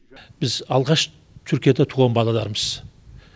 біз алғаш түркияда туған балалармыз